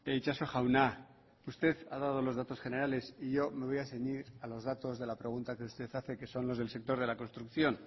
itxaso jauna usted ha dado los datos generales y yo me voy a ceñir a los datos de la pregunta que usted hace que son los del sector de la construcción